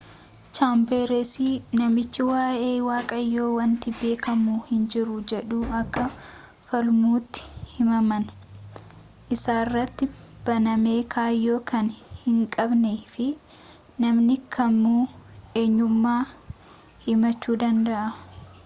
chaambersi namichi waa'ee waaqayyoo wanti beekamu hinjiru jedhu akka falmutti himannaan isarratti baname kaayyoo kan hinqabnee fi namni kamuu eenyumaan himachuu danda'a